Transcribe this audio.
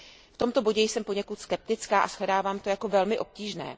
V tomto bodě jsem poněkud skeptická a shledávám to jako velmi obtížné.